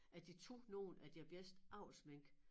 At de tog nogle af deres bedste avlsmink